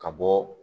Ka bɔ